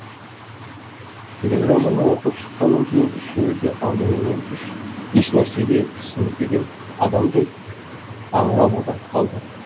телеграмманы оқып шыққаннан кейін үшеуі де алдыменен еш нәрсеге түсінбеген адамдай аңырып отырып қалды